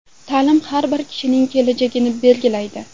Ta’lim har bir kishining kelajagini belgilaydi.